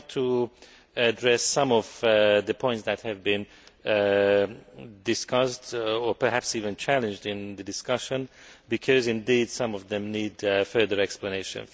I would like to address some of the points that have been discussed or perhaps even challenged in the discussion, because some of them need further explanation.